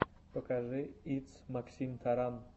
покажи итс максимтаран